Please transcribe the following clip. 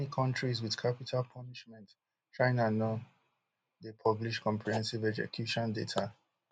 like many kontris wit capital punishment china no dey publish comprehensive execution data